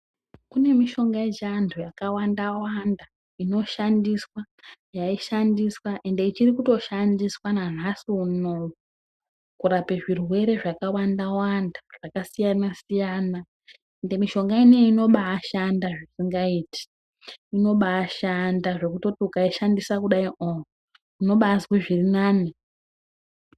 Kune mishonga yechiathu yakawanda wanda inoshandiswa yaishandiswa ende ichiri kutoshandiswa nanhasi unowu kurape zvirwere zvakawanda zvakasiyana siyana ende mishonga ineyi inobaashanda zvisingaiti inobaashanda zvekuti ukaishandisa kudai oo unobaazwa zviri nani.